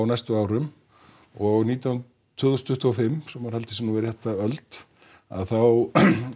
næstu árum og nítján tvö þúsund tuttugu og fimm svo maður haldi sig nú við rétta öld að þá